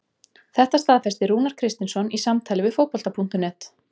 Þetta staðfesti Rúnar Kristinsson í samtali við Fótbolta.net.